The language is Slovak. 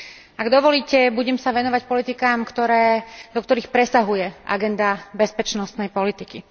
Ak dovolíte, budem sa venovať politikám, do ktorých presahuje agenda bezpečnostnej politiky.